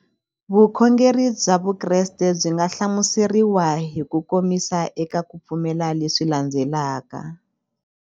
Vukhongeri bya Vukreste byi nga hlamuseriwa hi kukomisa eka ku pfumela leswi landzelaka.